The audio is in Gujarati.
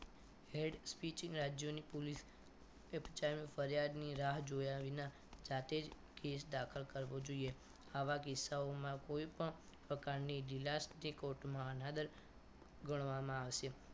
હેડ સ્પીચ રાજ્યોની પોલીસ ફરિયાદની રાહ જોયા વગર જાતે જ કેસ દાખલ કરવો જોઈએ આવા કિસ્સાઓમાં કોઈપણ પ્રકારની ઢીલાસ court માં અનાદર ગણવામાં આવશે